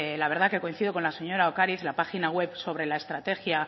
la verdad que coincido con la señora ocariz la página web sobre la estrategia